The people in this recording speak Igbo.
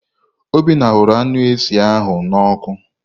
Obinna hụrụ anụ eshị ahụ nnọ ọkụ.